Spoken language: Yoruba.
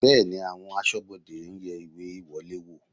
Bẹ́ẹ̀ni, àwọn aṣọ́bodè ń yẹ ìwé ìwọlé wò